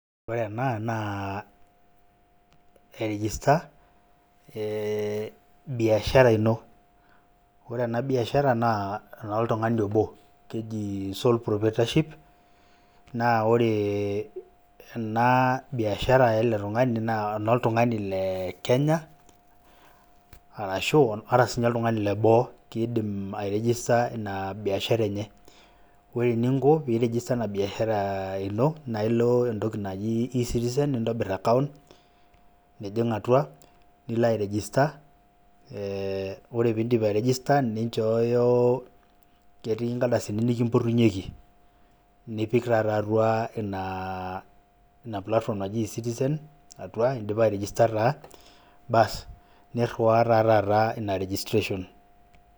Ore ena naa, airijista, eh biashara ino. Ore ena biashara, naa enoltung'ani obo. Keji sole proprietorship, naa ore ena biashara ele tung'ani, naa enoltung'ani le Kenya, arashu ata sinye oltung'ani leboo, kiidim airejesta ina biashara enye. Ore eninko pirejesta ena biashara ino, na ilo entoki naji e-citizen, nintobir akaunt, nijing' atua, nilo airejesta. Ore pidip airejesta, ninchoyo ketii nkardasini nikimpotunyeki. Nipik taata atua ina platform naji e-citizen, atua idipa airejesta taa, baas, nirriwaa ta taata ina registration.